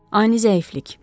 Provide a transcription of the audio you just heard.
Ani zəiflik.